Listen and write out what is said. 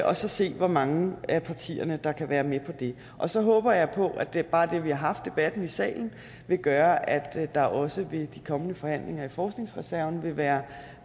og så se hvor mange af partierne der kan være med på det og så håber jeg på at bare det at vi haft debatten i salen vil gøre at der også ved de kommende forhandlinger i forskningsreserven vil være